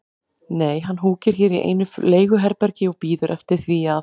Nei, hann húkir hér í einu leiguherbergi og bíður eftir því að